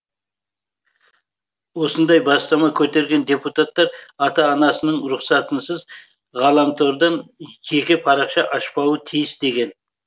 осындай бастама көтерген депутаттар ата анасының рұқсатынсыз ғаламтордан жеке парақша ашпауы тиіс деген